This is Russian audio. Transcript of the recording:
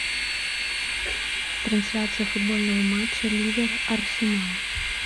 трансляция футбольного матча ливер арсенал